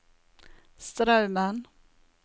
Straumen